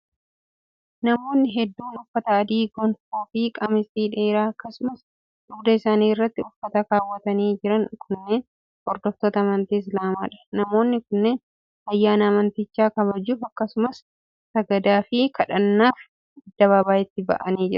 Namoonni hedduun uffata adii: gonfoo fi qamisii dheeraa akkasumas dugda isaanii irratti uffata kaawwatanii jiran kunneen, hordoftoota amantii islaamaa dha. Namoonni kunneen, ayyaana amantichaa kabajuuf akkasumas sagadaaf fi kadhannaaf addabaabaayitti ba'anii mul'atu.